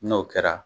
N'o kɛra